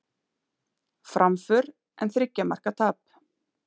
Framför en þriggja marka tap